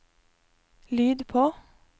lyd på